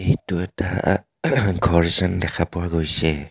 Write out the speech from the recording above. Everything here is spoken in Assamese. এইটো এটা ঘৰ যেন দেখা পোৱা গৈছে.